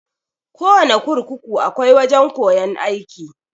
Kowana kurkuku akwai wajan koyan aiki.